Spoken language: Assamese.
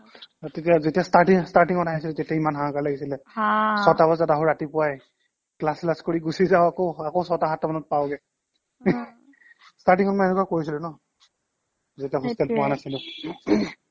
অ' তেতিয়া যেতিয়া starting starting ত আহিছিলো তেতিয়া ইমান হাহাঁকাৰ লাগিছিলে ছটা বজাত আহোঁ ৰাতিপুৱাই class চ্‌লাছ কৰি গুছি যাওঁ আকৌ আকৈ ছটা সাতটা মানত পাওঁগে starting ত মই এনেকুৱা কৰিছিলো ন যেতিয়া hostel অহা নাছিলো